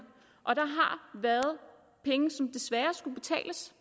og der har været penge som desværre skulle betales